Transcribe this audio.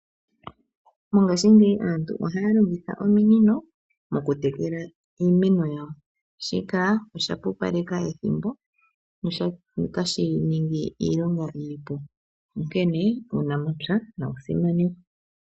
Mongaashingeyi aantu ohaya longitha ominino okutekela iimeno yawo shika oshapupaleka ethimbo notashi ningi iilonga iipu onkene uunamapya nawu simanekwe.